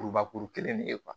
Kurubakuru kelen de ye